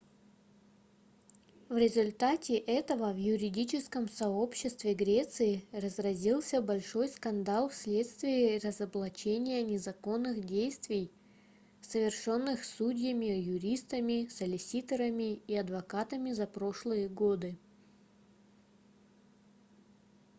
в результате этого в юридическом сообществе греции разразился большой скандал вследствие разоблачения незаконных действий совершённых судьями юристами солиситорами и адвокатами за прошлые годы